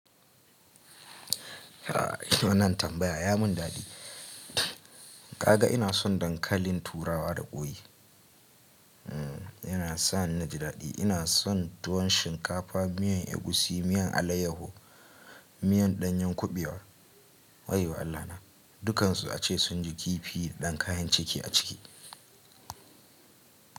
Wannan tambaya ya mun dadi. Kaga ina son dankalin turawa da ƙwoi. Yana sa ni ji dadi. Ina son tuwon shinkafa, miyan egusi, miyan alayyaho, miyan ɗanyen kuɓewa. Waiyo Allah na, dukkansu ace sun ji kifi da dan kayan ciki a ciki.